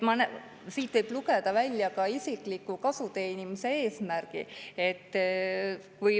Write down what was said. Siit võib lugeda välja ka isikliku kasu teenimise eesmärgi.